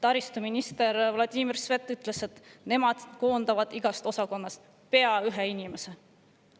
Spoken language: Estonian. Taristuminister Vladimir Svet ütles, et nemad koondavad igast osakonnast pea ühe inimese.